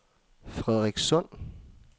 Frederikssund